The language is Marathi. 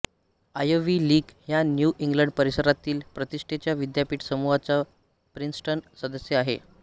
आयव्ही लीग ह्या न्यू इंग्लंड परिसरातील प्रतिष्ठेच्या विद्यापीठ समूहाचा प्रिन्स्टन सदस्य आहे